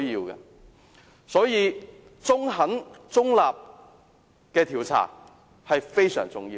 因此，中肯中立的調查非常重要。